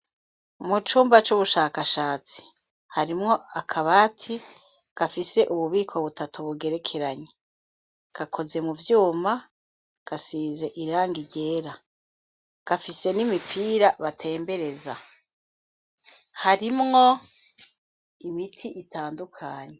Mu cumba c'ubushakashatsi harimwo akabati gafise ububiko butatu bugerekeranye. Gakoze mu vyuma gasize irangi ryera gafise n'imipira batembereza. Harimwo imiti itandukanye.